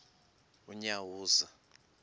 unyawuza